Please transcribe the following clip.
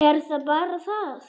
Er það bara það?